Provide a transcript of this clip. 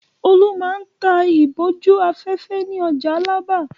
Olú máa ń ta ìbòjú-afẹ́fẹ́ ní ọjà Alábà.